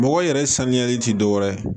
Mɔgɔ yɛrɛ saniyali ti dɔwɛrɛ ye